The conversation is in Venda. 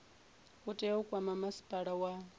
tea u kwama masipala wa